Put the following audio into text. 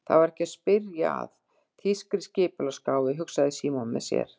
Það var ekki að spyrja að þýskri skipulagsgáfu, hugsaði Símon með sér.